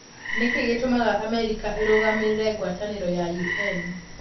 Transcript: Nĩ kĩĩ gĩtũmaga Amerika ĩrũgamagĩre ngwatanĩro ya UN?